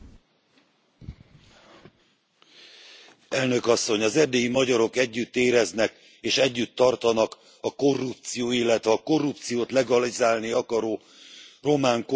Elnök Asszony, az erdélyi magyarok együtt éreznek és együtt tartanak a korrupció, illetve a korrupciót legalizálni akaró román kormány ellen tüntető polgártársaikkal.